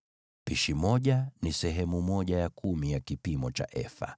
(Pishi moja ni sehemu ya kumi ya kipimo cha efa. )